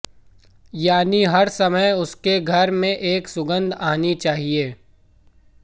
यानि हर समय उसके घर में एक सुगंध आनी चाहिए